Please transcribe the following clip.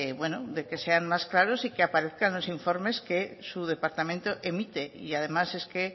que sean más claro y que aparezcan en los informes que su departamento emite además es que